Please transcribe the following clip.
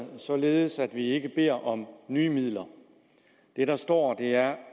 således at vi ikke beder om nye midler det der står er